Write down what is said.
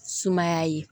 Sumaya ye